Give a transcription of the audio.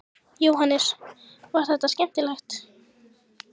Jóhannes: Var þetta skemmtilegt?